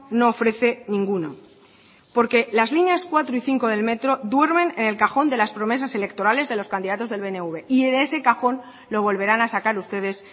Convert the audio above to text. no ofrece ninguno porque las líneas cuatro y cinco del metro duermen en el cajón de las promesas electorales de los candidatos del pnv y de ese cajón lo volverán a sacar ustedes